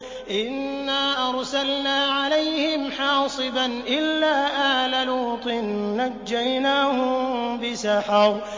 إِنَّا أَرْسَلْنَا عَلَيْهِمْ حَاصِبًا إِلَّا آلَ لُوطٍ ۖ نَّجَّيْنَاهُم بِسَحَرٍ